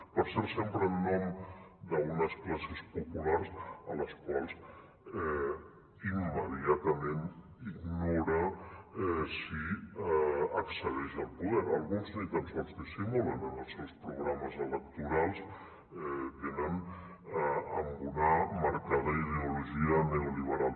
per cert sempre en nom d’unes classes populars a les quals immediatament ignora si accedeix al poder alguns ni tan sols dissimulen en els seus programes electorals venen amb una marcada ideologia neoliberal